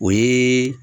O ye